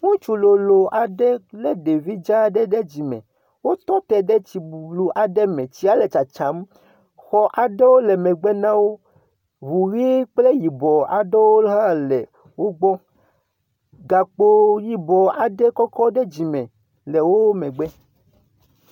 Ŋutsu lolo aɖe le ɖevi dza aɖe ɖe dzime. Wotɔ te tsi bublu aɖe me. Tsia le tsatsam. Xɔ aɖewo le megbe na wó, Ŋu ʋi kple yibɔ aɖewo hã le wogbɔ. Gakpɔ yibɔ aɖe kɔkɔ ɖe dzi mŋe le wò megbe.